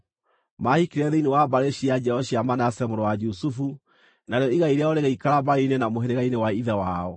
Maahikire thĩinĩ wa mbarĩ cia njiaro cia Manase mũrũ wa Jusufu, narĩo igai rĩao rĩgĩikara mbarĩ-inĩ na mũhĩrĩga-inĩ wa ithe wao.